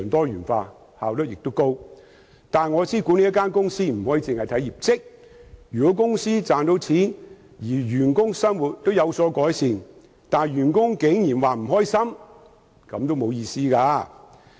不過，我知道不能只着重一間公司的業績，如果公司賺到錢，員工生活也有改善，但員工竟然覺得不開心，便毫無意義。